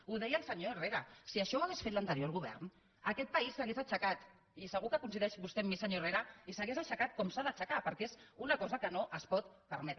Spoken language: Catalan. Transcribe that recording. ho deia el senyor herrera si això ho hagués fet l’anterior govern aquest país s’hauria aixecat i segur que coincideix vostè amb mi senyor herrera s’hauria aixecat com s’ha d’aixecar perquè és una cosa que no es pot permetre